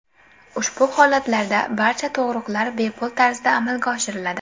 Ushbu holatlarda barcha tug‘ruqlar bepul tarzda amalga oshiriladi.